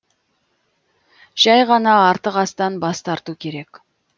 жәй ғана артық астан бас тарту керек